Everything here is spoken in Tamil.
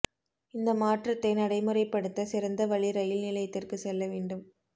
இந்த மாற்றத்தை நடைமுறைப்படுத்த சிறந்த வழி ரயில் நிலையத்திற்குச் செல்ல வேண்டும்